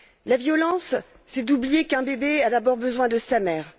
La violence, c'est oublier qu'un bébé a d'abord besoin de sa mère.